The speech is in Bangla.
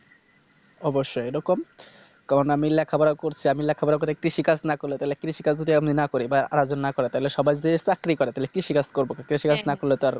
অবশ্যই এরকম কারণ আমি লেখাপড়া করেছি আমি লেখাপড়া করে কৃষি কাজ না করলে তাহলে কৃষি কাজ যদি এমনি না করি বা আরেকজন না করে তাহলে সবাই যে চাকরি করে তাহলে কৃষি কাজ করবে কে কৃষি কাজ না করলে তো আর